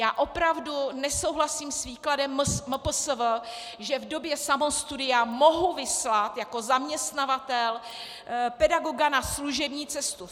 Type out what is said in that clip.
Já opravdu nesouhlasím s výkladem MPSV, že v době samostudia mohu vyslat jako zaměstnavatel pedagoga na služební cestu.